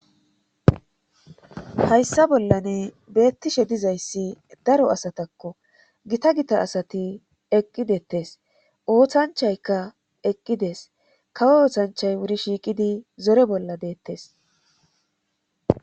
hayssa bollane beettishe dizayssi daro asatakko gita gita asati eqqidettes ooththanchaykka eqqides kawo ooththanchay wuri shiiqidi zore bolla deettes